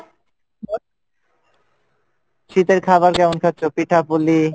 শীতের খাবার কেমন খাচ্ছো? পিঠা পুলি?